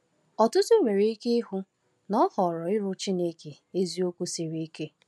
Ọtụtụ nwere ike ịhụ na ịhọrọ ịrụ Chineke eziokwu siri ike.